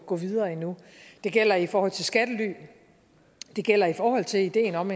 gå videre endnu det gælder i forhold til skattely det gælder i forhold til ideen om